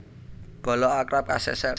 Bala Arab kaseser